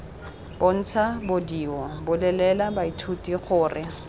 bontsha bedio bolelela baithuti gore